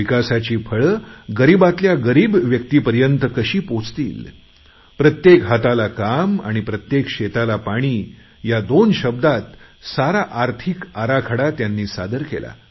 विकासाची फळे गरीबाताल्या गरीब व्यक्तीपर्यंत कशी पोहचतील प्रत्येक हाताला काम आणि प्रत्येक शेताला पाणी ह्या दोन शब्दात सारा आर्थिक आराखडा त्यांनी सादर केला